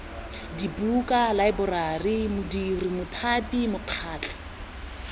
dibuka laeborari modiri mothapi mokgatlho